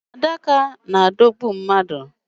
Adaka na-adọgbu mmadu.